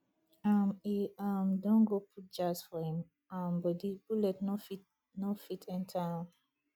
um e um don go put jazz for him um bodi bullet no fit no fit enter am